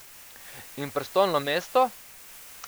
In prestolno mesto?